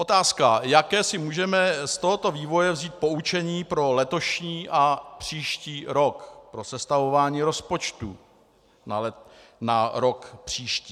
Otázka, jaké si můžeme z tohoto vývoje vzít poučení pro letošní a příští rok, pro sestavování rozpočtů na rok příští.